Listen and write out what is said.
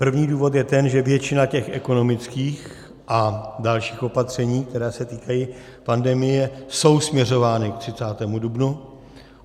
První důvod je ten, že většina těch ekonomických a dalších opatření, která se týkají pandemie, je směřována k 30. dubnu.